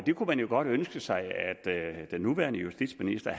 kunne man jo godt ønske sig at den nuværende justitsminister